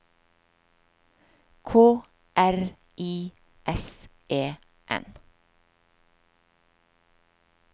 K R I S E N